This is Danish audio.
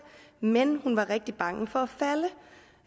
men hun var rigtig bange for